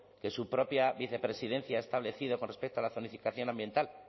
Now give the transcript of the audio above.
que su propia vicepresidencia ha establecido con respecto a la zonificación ambiental